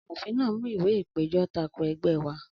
Amòfin náà mú ìwé ìpèjọ́ tako ẹgbẹ́ wá